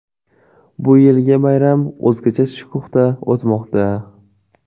Bu yilgi bayram o‘zgacha shukuhda o‘tmoqda.